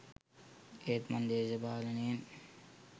ඒත් මං දේශපාලනයෙන්